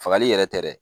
Fagali yɛrɛ tɛ dɛ